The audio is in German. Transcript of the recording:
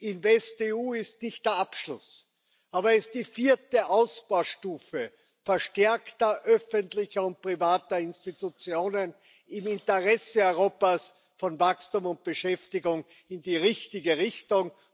InvestEU ist nicht der Abschluss, sondern die vierte Ausbaustufe verstärkter öffentlicher und privater Institutionen im Interesse Europas, von Wachstum und Beschäftigung in die richtige Richtung.